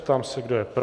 Ptám se, kdo je pro.